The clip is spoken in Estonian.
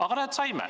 Aga näed, saime.